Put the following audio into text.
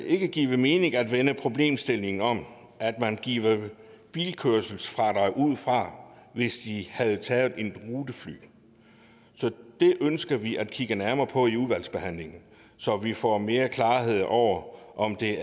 ikke give mening at vende problemstillingen om at man giver bilkørselsfradrag ud fra hvis de havde taget et rutefly så det ønsker vi at kigge nærmere på i udvalgsbehandlingen så vi får mere klarhed over om det